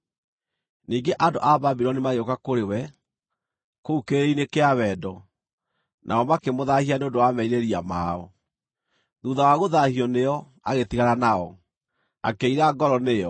Ningĩ andũ a Babuloni magĩũka kũrĩ we, kũu kĩrĩrĩ-inĩ kĩa wendo, nao makĩmũthaahia nĩ ũndũ wa merirĩria mao. Thuutha wa gũthaahio nĩo, agĩtigana nao, akĩira ngoro nĩo.